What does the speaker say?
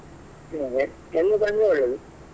ಎಲ್ರು ಬಂದ್ರೆ ಒಳ್ಳೇದು.